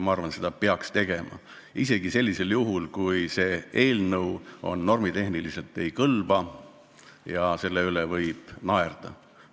Ma arvan, seda peaks tegema, isegi sellisel juhul, kui eelnõu normitehniliselt ei kõlba ja selle üle võib naerda.